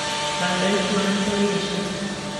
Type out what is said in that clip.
Kandoik tuwai koesioi